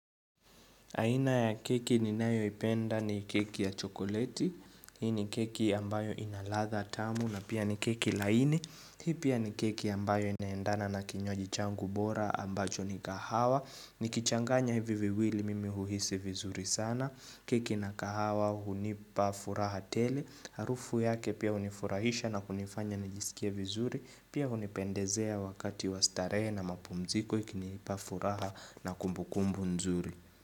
Aina ya keki ninayo ipenda ni keki ya chokoleti, hii ni keki ambayo inaladha tamu na pia ni keki laini, hii pia ni keki ambayo inaendana na kinywaji changu bora ambacho ni kahawa, ni kichanganya hivi viwili mimi huhisi vizuri sana, keki na kahawa hunipa furaha tele, harufu yake pia hunifurahisha na kunifanya nijisikie vizuri, pia hunipendezea wakati wastarehe na mapumziko ikinipa furaha na kumbukumbu nzuri.